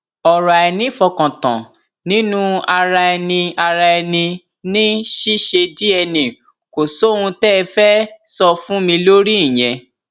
ọrọ àìnífọkàntàn nínú ara ẹni ara ẹni ní ṣíṣe dna kò sóhun tẹ ẹ fẹẹ sọ fún mi lórí ìyẹn